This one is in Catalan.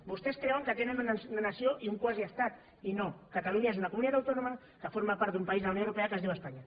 vostès creuen que tenen una nació i un quasi estat i no catalunya és una comunitat autònoma que forma part d’un país de la unió europea que es diu espanya